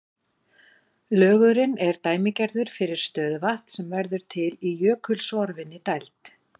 Lögurinn er dæmigerður fyrir stöðuvatn sem verður til í jökulsorfinni dæld.